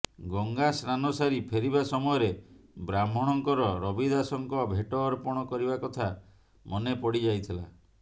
ଗଙ୍ଗା ସ୍ନାନ ସାରି ଫେରିବା ସମୟରେ ବ୍ରାହ୍ମଣଙ୍କର ରବିଦାସଙ୍କ ଭେଟ ଅର୍ପଣ କରିବା କଥା ମନେ ପଡ଼ିଯାଇଥିଲା